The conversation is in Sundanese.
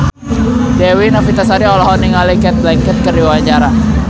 Dewi Novitasari olohok ningali Cate Blanchett keur diwawancara